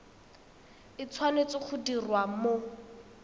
e tshwanetse go diriwa mo